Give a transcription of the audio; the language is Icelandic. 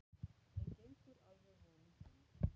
En gengur alveg vonum framar.